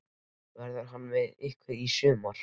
Verður hann með ykkur í sumar?